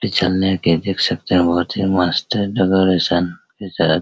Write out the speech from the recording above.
पिछलने के देख सकते हैं बहुत ही मस्त है --